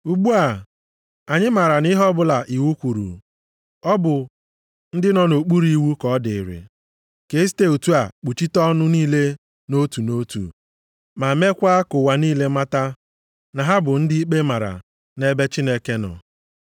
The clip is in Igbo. Ugbu a, anyị maara na ihe ọbụla iwu kwuru, ọ bụ ndị nọ nʼokpuru iwu ka ọ dịịrị, ka esite otu a kpuchite ọnụ niile nʼotu nʼotu. Ma meekwa ka ụwa niile mata na ha bụ ndị ikpe mara nʼebe Chineke nọ.